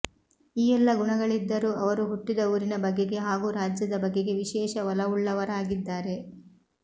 ಈ ಎಲ್ಲಾ ಗುಣಗಳಿದ್ದರೂ ಅವರು ಹುಟ್ಟಿದ ಊರಿನ ಬಗೆಗೆ ಹಾಗೂ ರಾಜ್ಯದ ಬಗೆಗೆ ವಿಶೇಷ ಒಲವುಳ್ಳವರಾಗಿದ್ದಾರೆ